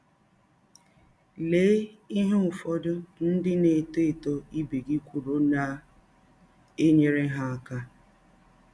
Lee ihe ụfọdụ ndị na - etọ etọ ibe gị kwụrụ na - enyere ha aka.